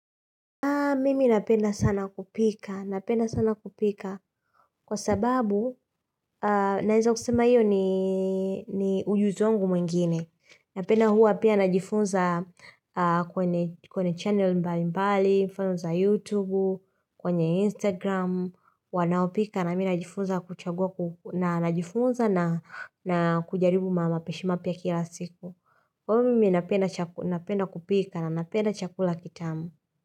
Mimi napenda sana kupika, napenda sana kupika kwa sababu naeza kusema hiyo ni ujuzi wangu mwingine. Napenda huwa pia najifunza kwenye channel mbali mbali, mfano za youtube, kwenye instagram, wanaopika nami najifunza kuchagua na najifunza na kujaribu mapishi mapya kila siku. Kwa hivyo mimi napenda kupika na napenda chakula kitamu.